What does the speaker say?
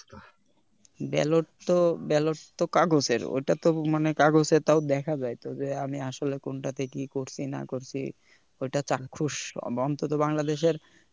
ballot তো ballot তো কাগজের ঐটা তো মানে কাগজে তাও দেখা যায় তো যে আমি আসলে কোনটাতে কি করিছি না করছি ঐটা চাক্ষুশ অন্তত বাংলাদেশের